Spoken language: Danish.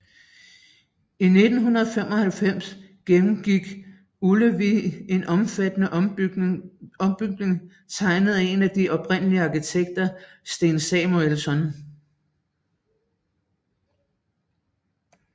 I 1995 gennemgik Ullevi en omfattende ombygning tegnet af en af de oprindelige arkitekter Sten Samuelsson